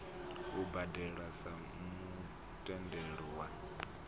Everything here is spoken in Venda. u badelwa sa mutendelo wa